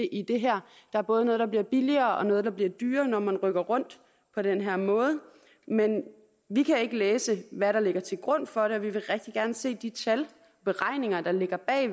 i det her der er både noget der bliver billigere og noget der bliver dyrere når man rykker rundt på den her måde men vi kan ikke læse hvad der ligger til grund for det og vi vil rigtig gerne se de tal beregninger der ligger bag